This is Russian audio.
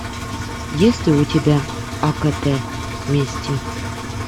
есть ли у тебя акт мести